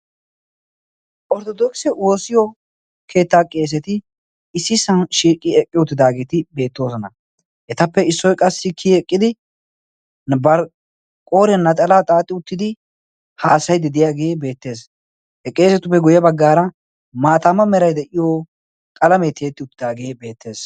orttodokise woosiyo keettaa qeeseti issi isan shiiqqi eqqi uttidaageeti beettoosona. etappe issoy qassi kiyi eqqidi barqqoore naxalaa xaaxxi uttidi haasayi dideyaagee beettees. he qeesetupme guyye baggaara maataama meraiy de'iyo xalamee tiyetti uttidaagee beettees.